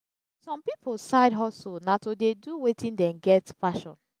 some pipo side hustle na to de do wetin dem get passion